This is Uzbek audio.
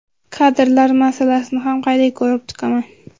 Kadrlar masalasini ham qayta ko‘rib chiqaman.